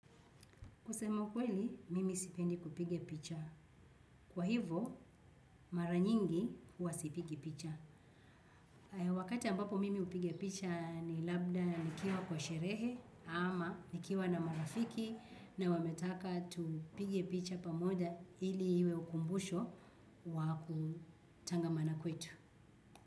Kusema ukweli, mimi sipendi kupiga picha. Kwa hivyo, mara nyingi huwa sipigi picha. Wakati ambapo mimi hupiga picha ni labda nikiwa kwa sherehe ama nikiwa na marafiki na wametaka tupige picha pamoja ili iwe ukumbusho wa kutangamana kwetu.